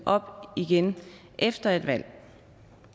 op igen efter et valg